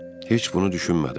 Heç bunu düşünmədim.